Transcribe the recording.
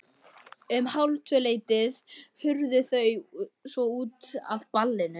Um hálftvöleytið hurfu þau svo út af ballinu.